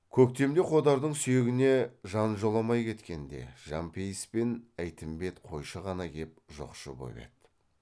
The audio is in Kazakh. көктемде қодардың сүйегіне жан жоламай кеткенде жәмпейіс пен әйтімбет қойшы ғана кеп жоқшы боп еді